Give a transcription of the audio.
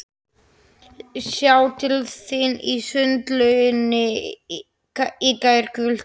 Sá til þín í sundlauginni í gærkvöldi.